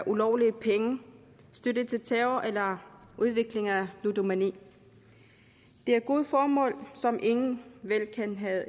ulovlige penge støtte til terror og udvikling af ludomani det er gode formål som ingen vel kan have